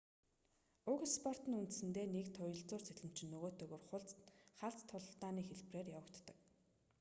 уг спорт нь үндсэндээ нэг туялзуур сэлэмчин нөгөөтэйгөө тулах халз тулааны хэлбэрээр явагддаг